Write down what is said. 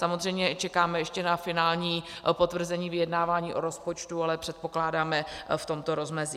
Samozřejmě čekáme ještě na finální potvrzení vyjednávání o rozpočtu, ale předpokládáme v tomto rozmezí.